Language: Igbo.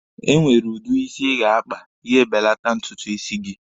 E nwere udi isi ị ga-akpa, ya e belata ntutu isi gị.